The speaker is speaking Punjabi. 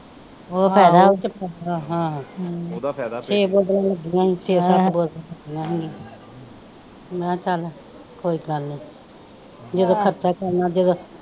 ਉਹ ਫਾਇਦਾ ਵਾ ਫਿਰ ਤੇ ਛੇ ਬੋਤਲਾਂ ਲੱਗੀਆ ਈ ਛੇ ਸੱਤ ਬੋਤਲਾਂ ਮੈ ਕਿਹਾ ਚਲ ਕੋਈ ਗੱਲ ਨਹੀਂ ਜਦੋ ਖਰਚਾ ਕਰਨਾ ਜਦੋ।